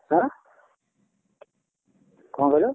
ହାଁ? କଣ କହିଲ?